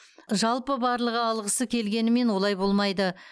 жалпы барлығы алғысы келгенімен олай болмайды